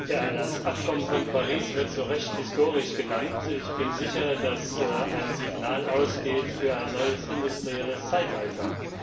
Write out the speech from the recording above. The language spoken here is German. Herr Präsident! Ja, das Abkommen von Paris wird zu Recht historisch genannt. Ich bin sicher, dass ein Signal ausgeht für ein neues industrielles Zeitalter.